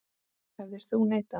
Hefðir þú neitað?